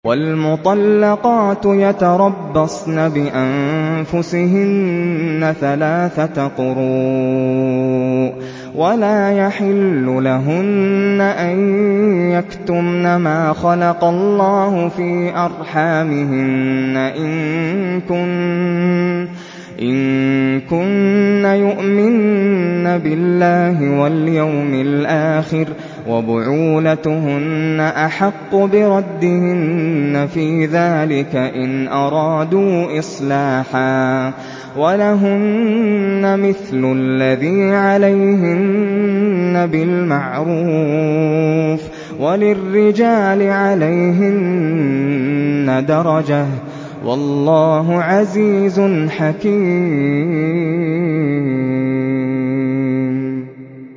وَالْمُطَلَّقَاتُ يَتَرَبَّصْنَ بِأَنفُسِهِنَّ ثَلَاثَةَ قُرُوءٍ ۚ وَلَا يَحِلُّ لَهُنَّ أَن يَكْتُمْنَ مَا خَلَقَ اللَّهُ فِي أَرْحَامِهِنَّ إِن كُنَّ يُؤْمِنَّ بِاللَّهِ وَالْيَوْمِ الْآخِرِ ۚ وَبُعُولَتُهُنَّ أَحَقُّ بِرَدِّهِنَّ فِي ذَٰلِكَ إِنْ أَرَادُوا إِصْلَاحًا ۚ وَلَهُنَّ مِثْلُ الَّذِي عَلَيْهِنَّ بِالْمَعْرُوفِ ۚ وَلِلرِّجَالِ عَلَيْهِنَّ دَرَجَةٌ ۗ وَاللَّهُ عَزِيزٌ حَكِيمٌ